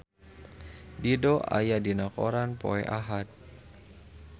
Dido aya dina koran poe Ahad